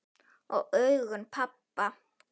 Og augum pabba.